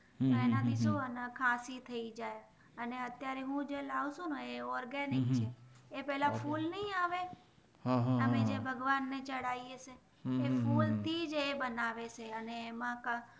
હમ હમ હમ આનાથી જોને ખસી થય જાય અને અત્યરે હું જે લાવું છું ને એ ઓર્ગેનિક એ પેલા ફૂલ નય આવે હમ હમ ભગવાન ને ચડાવે છે એ ફૂલ થીજ એ બનવે છે અને એમાં કાક